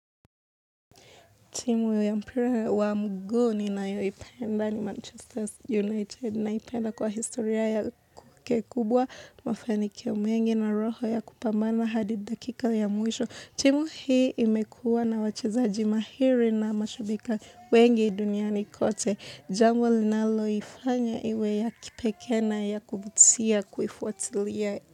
Timu yu ya mpira wa mguu ninayoipenda ni Manchester Manchester United. Naipenda kwa historia yao kukekubwa mafanikio mengi na roho ya kupambana hadi dakika ya mwisho. Timu hii imekua na wachezaji mahiri na mashabika wengi duniani kote. Jambo linaloifanya iwe ya kipekee na ya kuvutia kuifuatilia.